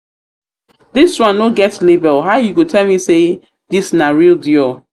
this one no get label how you go tell me say this na real dior?